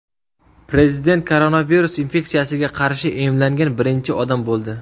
Prezident koronavirus infeksiyasiga qarshi emlangan birinchi odam bo‘ldi.